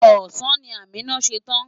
Ọ̀sán ni Amina ṣe tán.